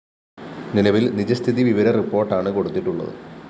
നിലവില്‍ നിജസ്ഥിതി വിവര റിപ്പോര്‍ട്ടാണു കൊടുത്തിട്ടുള്ളത്